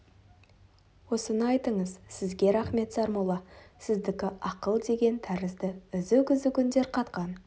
осыны айтыңыз сізге рақмет сармолла сіздікі ақыл деген тәрізді үзік-үзік үндер қатқан